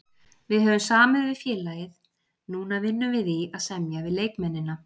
Við höfum samið við félagið, núna vinnum við í að semja við leikmennina.